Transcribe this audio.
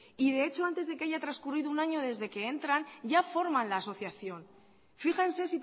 y de hecho antes de que haya transcurrido un año desde que entran ya forman la asociación fíjense